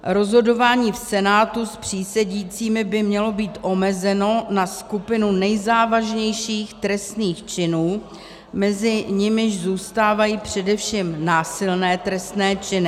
Rozhodování v senátu s přísedícími by mělo být omezeno na skupinu nejzávažnějších trestných činů, mezi nimiž zůstávají především násilné trestné činy.